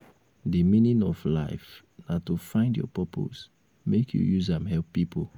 di meaning of life na to find your purpose make you use am help pipo.